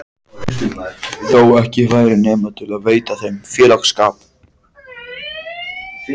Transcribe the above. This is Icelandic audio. Þó ekki væri nema til að veita þeim félagsskap.